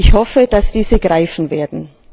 Ich hoffe, dass diese greifen werden.